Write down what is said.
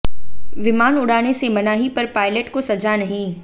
विमान उड़ाने से मनाही पर पायलट को सजा नहीं